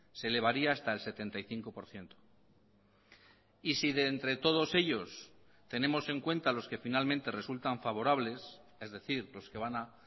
se elevaría hasta el setenta y cinco por ciento y si de entre todos ellos tenemos en cuenta los que finalmente resultan favorables es decir los que van a